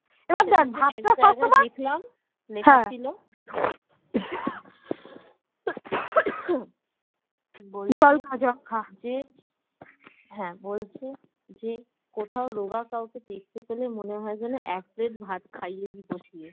হ্যাঁ বলছি যে কোথাও রোগা কাউকে দেখতে পেলে মনে হয় যেন এক প্লেট ভাত খাইয়ে দিয়ে বসিয়ে